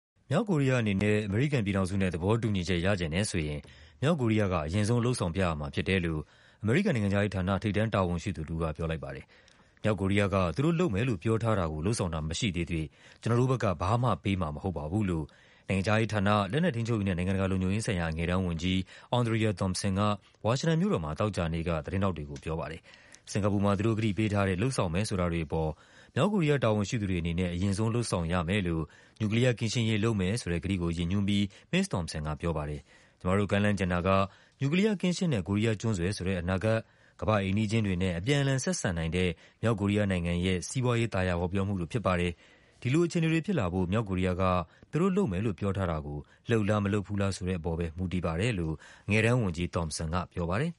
မြောက်ကိုရီးယားအနေနဲ့ အမေရိကန်ပြည်ထောင်စုနဲ့ သဘောတူညီချက်ရချင်တယ်ဆိုရင် မြောက်ကိုရီးယားက အရင်ဆုံး လုပ်ဆောင်ပြရမှာဖြစ်တယ်လို့ အမေရိကန်နိုင်ငံခြားရေးဌာန၊ ထိပ်တန်းတာဝန်ရှိသူတဦးက ပြောလိုက်ပါတယ်။ “မြောက်ကိုရီးယားက သူတို့လုပ်မယ်လို့ ပြောထားတာကို လုပ်ဆောင်တာ မရှိသေးသရွေ့ ကျနော်တို့ဘက်က ဘာမှ ပေးမှာ မဟုတ်ပါဘူး” လို့ နိုင်ငံခြားရေးဌာန၊ လက်နက်ထိန်းချုပ်ရေးနဲ့ နိုင်ငံတကာလုံခြုံရေးဆိုင်ရာ အငယ်တန်းဝန်ကြီး Andrea Thompson က ဝါရှင်တန်မြို့တော်မှာ သောကြာနေ့က သတင်းထောက်တွေကို ပြောပါတယ်။ စင်္ကာပူမှာ သူတို့ကတိပေးထားတဲ့ လုပ်ဆောင်မယ်ဆိုတာတွေအပေါ် မြောက်ကိုရီးယား တာဝန်ရှိသူတွေအနေနဲ့ အရင်ဆုံး လုပ်ဆောင်ရမယ်လို့ နျူကလီးယားကင်းရှင်းရေး လုပ်မယ်ဆိုတဲ့ကတိကို ရည်ညွှန်းပြီး မစ္စ Thompson ကပြောပါတယ်။ “ကျမတို့ကမ်းလှမ်းချင်တာက နျူကလီးယားကင်းရှင်းတဲ့ ကိုရီးယားကျွန်းဆွယ်ဆိုတဲ့ အနာဂတ်၊ ကမ္ဘာ့အိမ်နီးချင်းတွေနဲ့ အပြန် အလှန် ဆက်ဆံနိုင်တဲ့ မြောက်ကိုရီးယားနိုင်ငံရဲ့ စီးပွားရေး သာယာဝပြောမှုတို့ဖြစ်ပါတယ်။ ဒီလိုအခြေအနေတွေဖြစ်လာဖို့ မြောက်ကိုရီးယားက သူတို့လုပ်မယ်လို့ ပြောထားတာကို လုပ်လား မလုပ်ဘူးလားဆိုတဲ့ပေါ်ပဲ မူတည်ပါတယ်” လို့ အငယ်တန်း ဝန်ကြီး Thompson ကပြောပါတယ်။